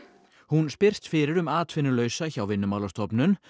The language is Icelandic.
hún spyrst fyrir um atvinnulausa hjá Vinnumálastofnun